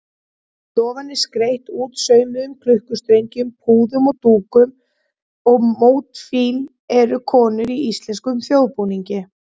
Stofan er skreytt útsaumuðum klukkustrengjum, púðum og dúkum og mótífin eru konur í íslenskum þjóðbúningi.